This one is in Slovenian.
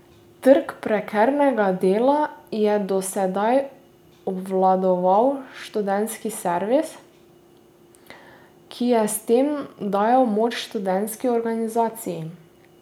Trg prekernega dela je do sedaj obvladoval študentski servis, ki je s tem dajal moč študentski organizaciji.